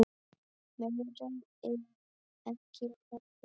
Meira er ekki að hafa.